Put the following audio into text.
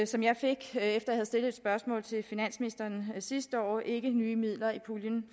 som jeg fik efter at jeg havde stillet et spørgsmål til finansministeren sidste år ikke nye midler i puljen